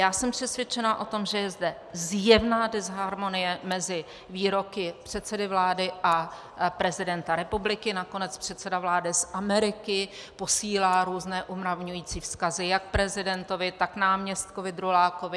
Já jsem přesvědčena o tom, že je zde zjevná disharmonie mezi výroky předsedy vlády a prezidenta republiky, nakonec předseda vlády z Ameriky posílá různé umravňující vzkazy jak prezidentovi, tak náměstkovi Drulákovi.